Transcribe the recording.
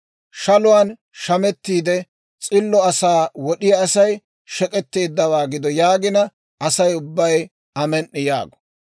« ‹Shaluwaan shamettiide, s'illo asaa wod'iyaa Asay shek'etteeddawaa gido› yaagina, Asay ubbay, ‹Amen"i!› yaago.